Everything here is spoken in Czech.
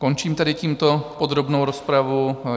Končím tedy tímto podrobnou rozpravu.